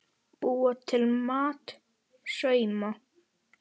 Búa til mat- sauma